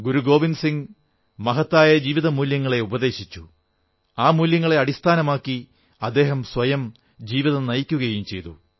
ഗുരുഗോവിന്ദ് സിംഗ് മഹത്തായ ജീവിത മൂല്യങ്ങളെ ഉപദേശിച്ചു ആ മൂല്യങ്ങളെ അടിസ്ഥാനമാക്കി അദ്ദേഹം സ്വയം ജീവിതം നയിക്കുകയും ചെയ്തു